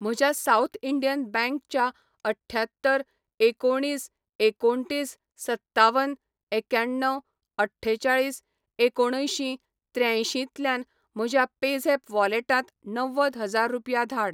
म्हज्या south Indian bank च्या अठ्ठ्यात्तर एकोणिस एकोणतीस सत्तावन एक्याण्णव अठ्ठेचाळीस एकोणअंयशीं त्र्यायंशीं तल्यांन म्हज्या पेझॅप वॉलेटांत णव्वद हजार रुपया धाड